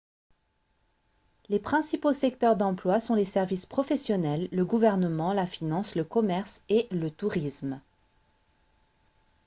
les principaux secteurs d'emploi sont les services professionnels le gouvernement la finance le commerce et le tourisme